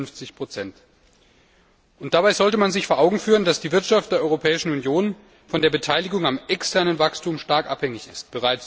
150 Dabei sollte man sich vor Augen führen, dass die Wirtschaft der Europäischen Union von der Beteiligung am externen Wachstum stark abhängig ist.